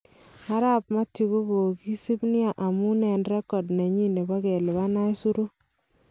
Arap Mathew kokokisip nia amun eng record nenyin nebo kelipan isurut.